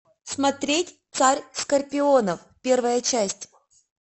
смотреть царь скорпионов первая часть